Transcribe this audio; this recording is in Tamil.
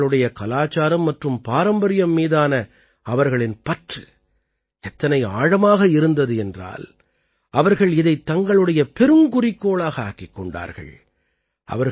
ஆனால் தங்களுடைய கலாச்சாரம் மற்றும் பாரம்பரியம் மீதான அவர்களின் பற்று எத்தனை ஆழமாக இருந்தது என்றால் அவர்கள் இதைத் தங்களுடைய பெருங்குறிக்கோளாக ஆக்கிக் கொண்டார்கள்